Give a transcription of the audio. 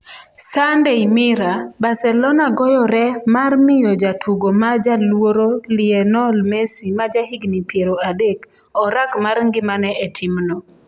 (Sunday Mirror) Barcelona goyore mar miyo jatugo ma jaluoro Lionel Messi ma jahigni 30, orak mar ngimane e timno.